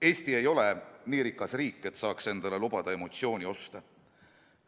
Eesti ei ole nii rikas riik, et saaks endale lubada emotsioonioste.